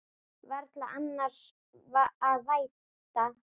Varla annars að vænta.